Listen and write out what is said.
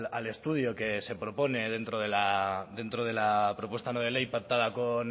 al estudio que se propone dentro de la propuesta no de ley pactada con